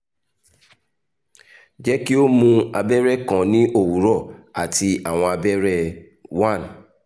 jẹ ki o mu abẹrẹ kan ni owurọ ati awọn abẹrẹ one